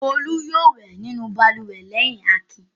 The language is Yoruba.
Olú yóò wẹ̀ nínú balùwẹ̀ lẹ́yìn Akin.